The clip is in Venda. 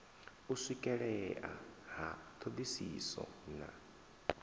u swikelea ha thodisiso na